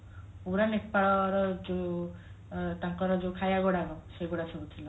ପୁରା ନେପାଳର ଯୋଉ ଅ ତାଙ୍କର ଯୋଉ ଖାଇବା ଗୁଡାକ ସେଗୁଡା ସବୁ ଥିଲା